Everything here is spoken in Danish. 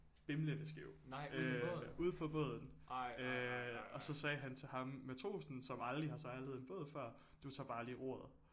Bimlende skæv øh ude på båden øh og så sagde han til ham matrosen som aldrig har sejlet en båd før du tager bare lige roret